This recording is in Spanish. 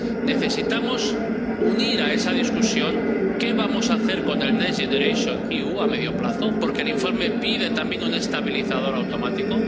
necesitamos debatir a la vez qué vamos a hacer con el Next Generation EU a medio plazo, porque el informe pide también un estabilizador automático.